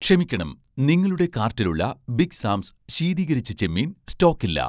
ക്ഷമിക്കണം, നിങ്ങളുടെ കാർട്ടിലുള്ള 'ബിഗ് സാംസ്' ശീതീകരിച്ച ചെമ്മീൻ സ്റ്റോക്കില്ല